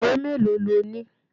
Ìwé mélòó lo ni?